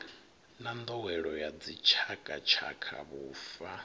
na nḓowelo ya dzitshakatshaka vhufa